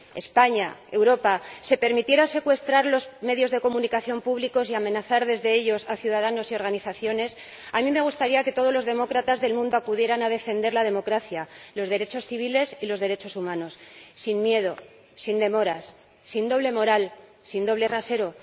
España, Europa, se permitiera secuestrar los medios de comunicación públicos y amenazar desde ellos a ciudadanos y organizaciones, a mí me gustaría que todos los demócratas del mundo acudieran a defender la democracia, los derechos civiles y los derechos humanos, sin miedo, sin demoras, sin doble moral, sin doble rasero.